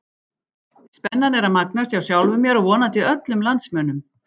Spennan er að magnast, hjá sjálfum mér og vonandi öllum landsmönnum!